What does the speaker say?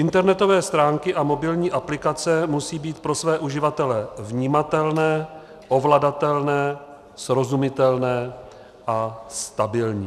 Internetové stránky a mobilní aplikace musejí být pro své uživatele vnímatelné, ovladatelné, srozumitelné a stabilní.